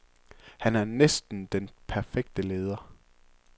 Han er næsten den perfekte leder.